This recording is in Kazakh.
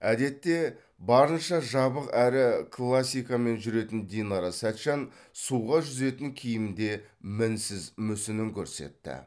әдетте барынша жабық әрі классикамен жүретін динара сәтжан суға жүзетін киімде мінсіз мүсінін көрсетті